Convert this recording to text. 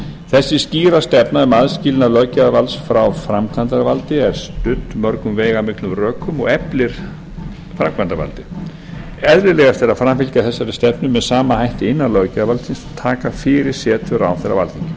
þessi skýra stefna um aðskilnað löggjafarvalds frá framkvæmdarvaldi er studd mörgum veigamiklum rökum og eflir framkvæmdarvaldið eðlilegast er að framfylgja þessari stefnu með sama hætti innan löggjafarvaldsins og taka fyrir setur ráðherra á alþingi